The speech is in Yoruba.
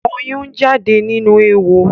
Ọyún ń jáde nínú éwo